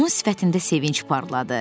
Onun sifətində sevinc parladı.